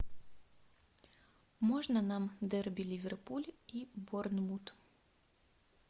можно нам дерби ливерпуль и борнмут